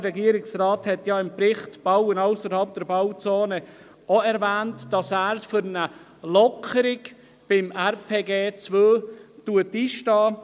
Der Regierungsrat hat ja im Kapitel, bei dem es um das Bauen ausserhalb der Bauzone geht, ebenfalls erwähnt, dass er für eine Lockerung im Rahmen der zweiten Revision des Raumplanungsgesetzes (RPG 2) einsteht.